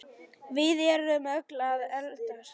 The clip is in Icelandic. Við erum öll að eldast.